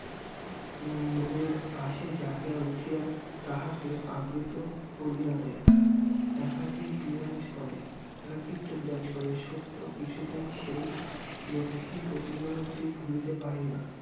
মনের পাশেই জাগিয়া উঠিয়া তাহাকেই আবৃত করিয়া দেয় একাকী বিরাজ করে একাকিত্ব বিরাজ করে সত্য কিছুতেই সেই লক্ষ্মী প্রতিমা টি ভুলিতে পারে না